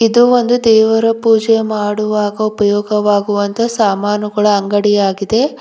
ಇದು ಒಂದು ದೇವರ ಪೂಜೆ ಮಾಡುವಾಗ ಉಪಯೋಗವಾಗುವ ಅಂತ ಸಾಮಾನುಗಳ ಅಂಗಡಿ ಆಗಿದೆ.